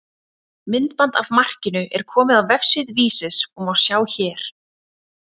Myndband af markinu er komið á vefsíðu Vísis og má sjá hér.